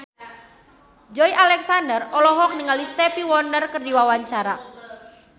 Joey Alexander olohok ningali Stevie Wonder keur diwawancara